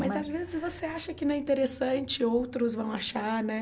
Mas às vezes você acha que não é interessante e outros vão achar, né?